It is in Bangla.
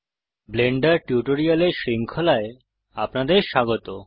ব্লেন্ডার টিউটোরিয়ালের শৃঙ্খলায় আপনাদের স্বাগত